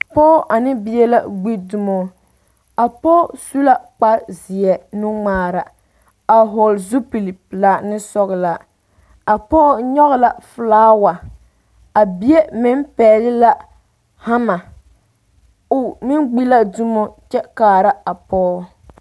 Pɔɔ ane bie la gbi dumo a pɔɔ su la kpar zeɛ nu ŋmaara a hɔgele zupili pelaa ne sɔgelɔ a pɔɔ nyɔge la felaawa a bie meŋ pɛgle haama o meŋ gbi la dumo kyɛ kaara a pɔɔ